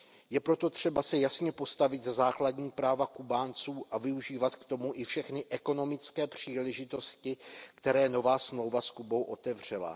Je proto třeba se jasně postavit za základní práva Kubánců a využívat k tomu i všechny ekonomické příležitosti, které nová smlouva s Kubou otevřela.